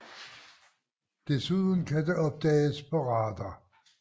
Desuden kan det opdages på radar